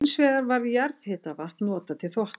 Hins vegar var jarðhitavatn notað til þvotta.